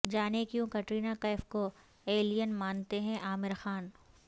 جانیں کیوں کٹرینہ کیف کو ایلین مانتے ہیں عامر خان